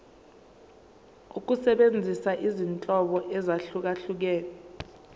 ukusebenzisa izinhlobo ezahlukehlukene